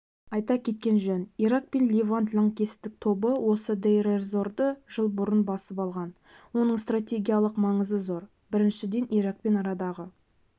айта кеткен жөн ирак пен левант лаңкестік тобы осы дейр-эз-зорды жыл бұрын басып алған оның стратегиялық маңызы зор біріншіден иракпен арадағы